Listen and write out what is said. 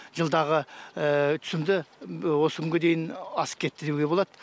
жылдағы түсімді осы күнге дейін асып кетті деуге болады